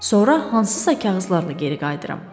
Sonra hansısa kağızlarla geri qayıdıram.